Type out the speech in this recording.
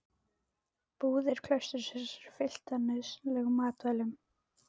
Búðir klaustursins eru fylltar nauðsynlegum matvælum.